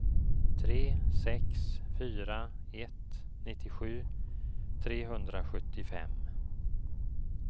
tre sex fyra ett nittiosju trehundrasjuttiofem